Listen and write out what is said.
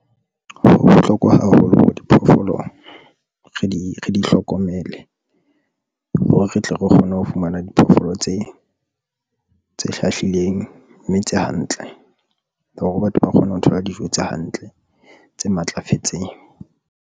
Ho bohlokwa haholo hore diphoofolo re di re di hlokomele hore re tle re kgone ho fumana diphoofolo tse hlahlileng mme tse hantle hore batho ba kgone ho thola dijo tse hantle, tse matlafetseng.